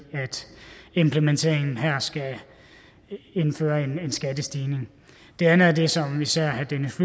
at implementeringen her skal indføre en skattestigning det andet er det som især herre dennis